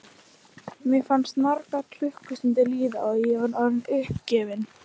Mér fannst margar klukkustundir líða og ég var orðin uppgefin.